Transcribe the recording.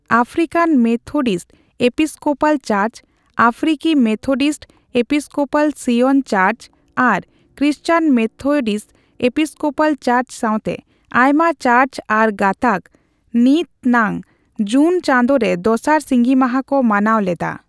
African Methodist Episcopal church, African Methodist Episcopal Zion church ᱟᱨ Christian Methodist Episcopal church ᱥᱟᱣᱛᱮ ᱟᱭᱢᱟ church ᱟᱨ ᱜᱟᱛᱟᱠ, ᱱᱤᱛᱱᱟᱝ ᱡᱩᱱ ᱪᱟᱸᱫᱳ ᱨᱮ ᱫᱚᱥᱟᱨ ᱥᱤᱸᱜᱤ ᱢᱟᱦᱟ ᱠᱚ ᱢᱟᱱᱟᱣ ᱞᱮᱫᱟ ᱾